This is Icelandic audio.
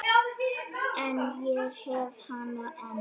En ég hef hana enn.